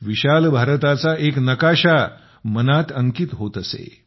विशाल भारताचा एक नकाशा मनात कोरला जात असे